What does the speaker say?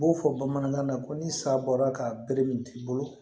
U b'o fɔ bamanankan na ko ni sa bɔla ka bere min t'i bolo